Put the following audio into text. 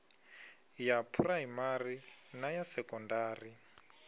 ya phuraimari na ya sekondari